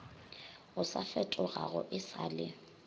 o sa fetogago e sale